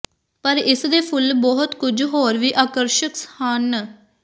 ਪਰ ਇਸ ਦੇ ਫੁੱਲ ਬਹੁਤ ਕੁਝ ਹੋਰ ਵੀ ਆਕਰਸ਼ਕ ਹਨ